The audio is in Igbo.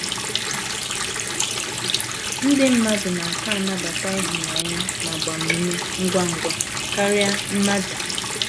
Ndị mmadụ na - aka anabata ịhụnanya na agbamume ngwa ngwa karịa mmaja.